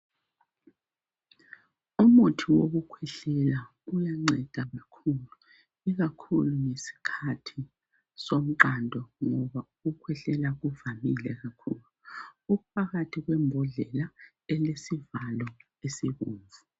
umuthi wokukwehlela uyanceda kakhulu ikakhulu ngesikhathi somqando ngoba ukukwehlela kuvamile kakhulu uphakathi kwembodlela elesivalo esibomvu